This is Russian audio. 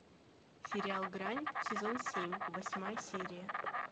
сериал грань сезон семь восьмая серия